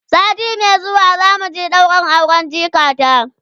sati Mai zuwa zamu je ɗaurin auren jikata